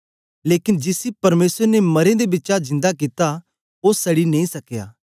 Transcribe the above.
लेकन जिसी परमेसर ने मरें दे बिचा जिन्दा कित्ता ओ सड़ी नेई सकया